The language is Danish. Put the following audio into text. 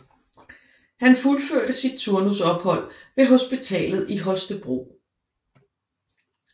Han fuldførte sit turnusophold ved hospitalet i Holstebro